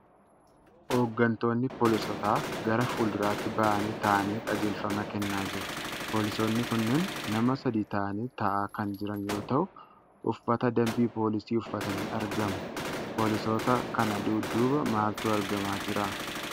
Hoogantoonni poolisootaa gara fuulduraatti bahanii taa'anii qajeelfama kennaa jiru. Poolisoonni kunneen nama sadi ta'anii taa'aa kan jiran yoo ta'u, Uffata dambii poolisii uffatanii argamu. Poolisoota kana dudduuba maaltu argamaa jira?